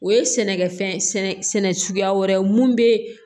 O ye sɛnɛkɛfɛn sɛnɛcogoya wɛrɛ ye mun bɛ